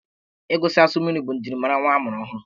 Ịgụsisi asụ mmiri bụ njirimara nwa a mụrụ ọhụrụ.